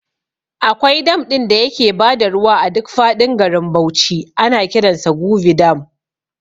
Akwai dam ɗin da yake bada ruwa a duk faɗin garin Bauchi ana kiransa Gubi dam